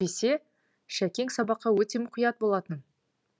әйтпесе шәкең сабаққа өте мұқият болатын